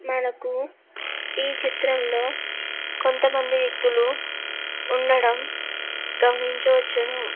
మనకు ఈ చిత్రంలో కొంత మనది వ్యక్తులు ఉండడం గమనించ వచ్చును.